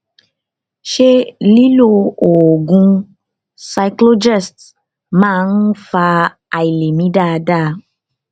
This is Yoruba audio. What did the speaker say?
ṣé lílo oògùn cyclogest máa ń fa àìlè mí dáadáa